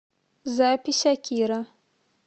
запись акира